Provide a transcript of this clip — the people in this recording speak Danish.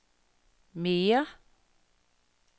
mere